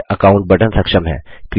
create account button सक्षम है